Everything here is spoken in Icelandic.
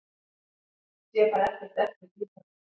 Sé bara ekkert eftir því núna.